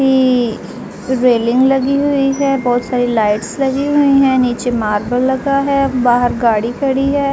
Railing लगी हुई है। बहुत सारी लाइट्स लगी हुई है नीचे मार्बल लगा है। बाहर गाड़ी खड़ी है।